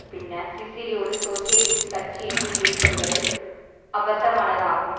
பின்னர் சிசிறி ஒரு சோசியலிஸ்ட் கட்சி என்று கூறி கொள்வது அபத்தமானதாகும்